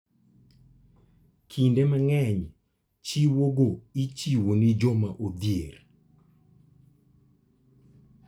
Kinde mang'eny chiwogo ichiwo ne joma odhier.